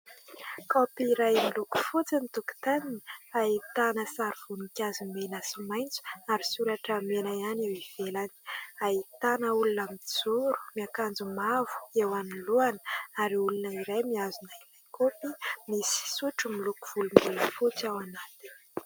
Kaopy iray miloko fotsy ny tokotaniny ahitana sary voninkazo mena sy maintso ary soratra mena ihany eo ivelany ahitana olona mijoro miakanjo mavo eo anolohana ary olona iray miazona ilay ikopy misy sotro miloko volom-bolafotsy ao anatiny